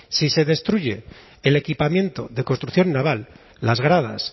si se destruye el equipamiento de construcción naval las gradas